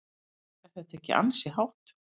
Er þetta ekki ansi hátt?